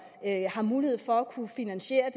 har mulighed for at finansiere